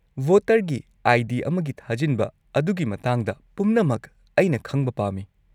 -ꯚꯣꯇꯔꯒꯤ I. D. ꯑꯃꯒꯤ ꯊꯥꯖꯤꯟꯕ ꯑꯗꯨꯒꯤ ꯃꯇꯥꯡꯗ ꯄꯨꯝꯅꯃꯛ ꯑꯩꯅ ꯈꯪꯕ ꯄꯥꯝꯃꯤ ꯫